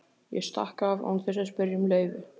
Ég stakk af án þess að spyrja um leyfi.